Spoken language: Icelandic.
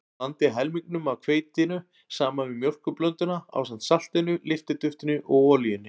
Blandið helmingnum af hveitinu saman við mjólkurblönduna ásamt saltinu, lyftiduftinu og olíunni.